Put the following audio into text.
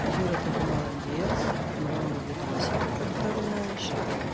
юра такой молодец много видосиков отправляешь